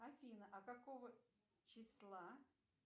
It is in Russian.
афина а какого числа